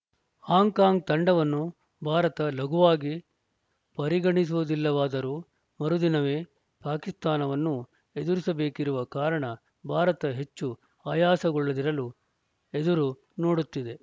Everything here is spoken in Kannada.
ಹಾಂಕಾಂಗ್‌ ತಂಡವನ್ನು ಭಾರತ ಲಘುವಾಗಿ ಪರಿಗಣಿಸುವುದಿಲ್ಲವಾದರೂ ಮರು ದಿನವೇ ಪಾಕಿಸ್ತಾನವನ್ನು ಎದುರಿಸಬೇಕಿರುವ ಕಾರಣ ಭಾರತ ಹೆಚ್ಚು ಆಯಾಸಗೊಳ್ಳದಿರಲು ಎದುರು ನೋಡುತ್ತಿದೆ